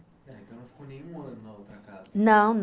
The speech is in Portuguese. não, não